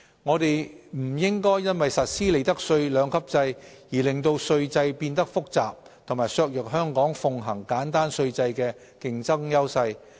我們不應因實施利得稅兩級制而令稅制變得複雜及削弱香港奉行簡單稅制的競爭優勢。